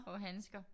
Og handsker